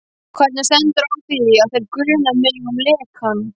Hvernig stendur á því, að þeir gruna mig um lekann?